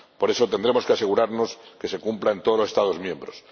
Por eso, tendremos que asegurarnos de que se cumpla en todos los Estados miembros.